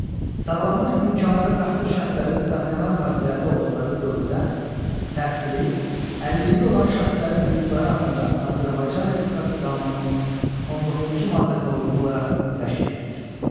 Sağlamlıq imkanları məhdud şəxslərin stasionar müəssisələrdə olduqları dövrdə təhsili, əlilliyi olan şəxslərin hüquqları haqqında Azərbaycan Respublikası qanununun 19-cu maddəsinə uyğun olaraq təşkil edilir.